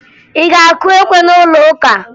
Ị ga-akụ ekwe na'ụlọụka?